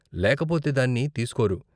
లేకపోతే దాన్ని తీస్కోరు.